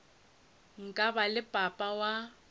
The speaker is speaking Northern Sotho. nka ba le papa wa